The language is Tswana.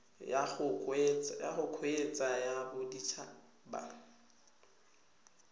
ya go kgweetsa ya bodithaba